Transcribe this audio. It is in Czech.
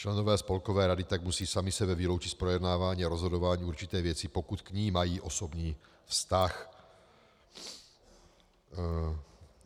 Členové spolkové rady tak musí sami sebe vyloučit z projednávání a rozhodování určité věci, pokud k ní mají osobní vztah.